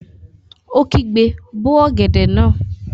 Ó kígbe, 'bó ọ̀gẹ̀dẹ̀ náà!